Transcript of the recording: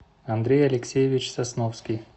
андрей алексеевич сосновский